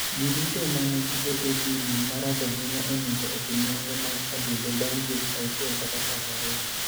Ji duto ma nigi AATD marach ahinya onego otim nonro mag adundo bang ' dweche 6 kata 12.